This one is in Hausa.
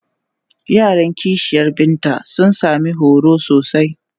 Yaran ƙishiyar Binta sun sami horo sosai.